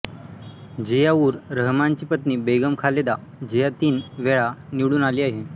झिया उर रहमानची पत्नी बेगम खालेदा झिया तीन वेळा निवडून आली आहे